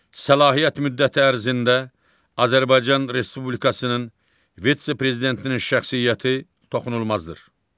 Səlahiyyət müddəti ərzində Azərbaycan Respublikasının vitse-prezidentinin şəxsiyyəti toxunulmazdır.